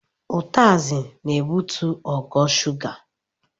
Utasị na-ebutu ogo shuga.